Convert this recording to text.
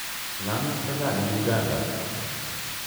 Islamik ko chang' eng' Uganda.